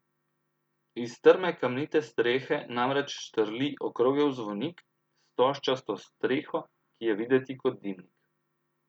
Iz strme kamnite strehe namreč štrli okrogel zvonik s stožčasto streho, ki je videti kot dimnik.